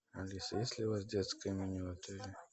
алиса есть ли у вас детское меню в отеле